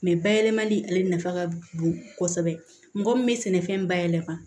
bayɛlɛmali ale nafa ka bon kosɛbɛ mɔgɔ min bɛ sɛnɛfɛn bayɛlɛma